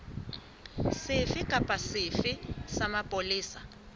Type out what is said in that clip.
sefe kapa sefe sa mapolesa